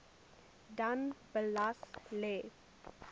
dan beslag lê